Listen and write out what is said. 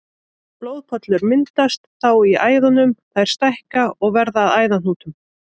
Blóðpollar myndast þá í æðunum, þær stækka og verða að æðahnútum.